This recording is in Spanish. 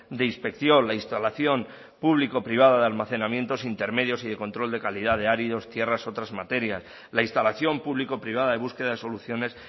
de inspección la instalación público privada de almacenamientos intermedios y de control de calidad de áridos tierras otras materias la instalación público privada de búsqueda de soluciones